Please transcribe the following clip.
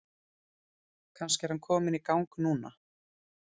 Kannski er hann kominn í gang núna?